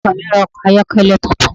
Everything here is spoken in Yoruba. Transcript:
Ọkọ mi ra ọkọ̀ ayọ́kẹ́lẹ́ tuntun.